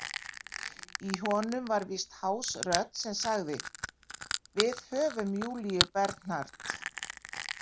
Í honum var víst hás rödd sem sagði: Við höfum Júlíu Bernard.